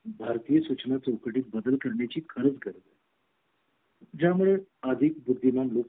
भारतीय सूचना तुकडी बदल करण्याची खर्च गरज आहे ज्या मुळे अधिक बुद्धिमान लोक